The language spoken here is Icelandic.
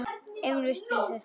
Emil virti hann fyrir sér.